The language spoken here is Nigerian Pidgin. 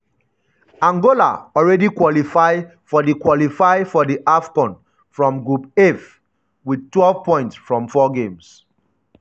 angola already qualify for di qualify for di afcon from group f wit twelve points from 4 games.